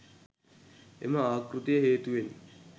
එම ආකෘතිය හේතුවෙන්